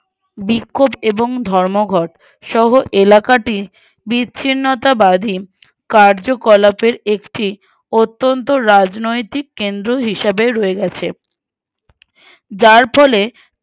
বিক্ষোভ এবং ধর্মঘটসহ এলাকাটি বিছিন্নতা বাধীন কার্যকলাপের একটি অত্যন্ত রাজনৈতিক কেন্দ্র হিসাবে রয়ে গেছে উহ আহ যার ফলে